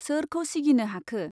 सोरखौ सिगिनो हाखो ?